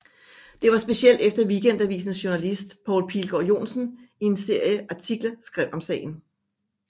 Det var specielt efter Weekendavisens journalist Poul Pilgaard Johnsen i en serie artikler skrev om sagen